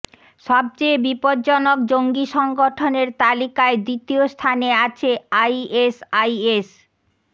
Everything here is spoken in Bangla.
সবচেয়ে বিপজ্জনক জঙ্গি সংগঠনের তালিকায় দ্বিতীয় স্থানে আছে আইএসআইএস